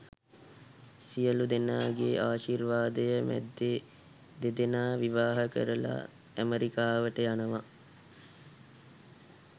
සියළුදෙනාගේ ආශීර්වාදය මැද්දෙ දෙදෙනා විවාහ වෙලා ඇමෙරිකාවට යනවා.